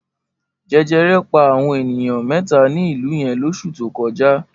Jẹjẹrẹ pa àwọn ènìyàn mẹ́ta ní ìlú yẹn lóṣù tó kọjá.